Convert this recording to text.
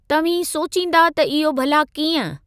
तव्हीं सोचींदा त इहो भला कींअं?